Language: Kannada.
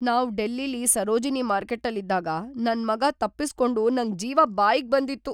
ನಾವ್ ಡೆಲ್ಲಿಲಿ ಸರೋಜಿನಿ ಮಾರ್ಕೆಟ್ಟಲ್ಲಿದ್ದಾಗ ನನ್ ಮಗ ತಪ್ಪಿಸ್ಕೊಂಡು ನಂಗ್‌ ಜೀವ ಬಾಯಿಗ್‌ ಬಂದಿತ್ತು.